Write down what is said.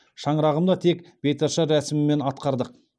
шаңырағымда тек беташар рәсімімен атқардық